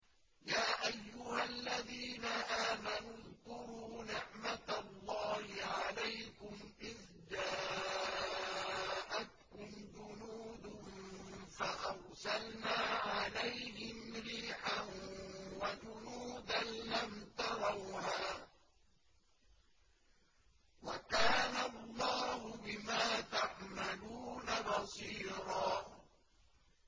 يَا أَيُّهَا الَّذِينَ آمَنُوا اذْكُرُوا نِعْمَةَ اللَّهِ عَلَيْكُمْ إِذْ جَاءَتْكُمْ جُنُودٌ فَأَرْسَلْنَا عَلَيْهِمْ رِيحًا وَجُنُودًا لَّمْ تَرَوْهَا ۚ وَكَانَ اللَّهُ بِمَا تَعْمَلُونَ بَصِيرًا